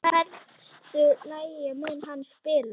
Hversu lengi mun hann spila?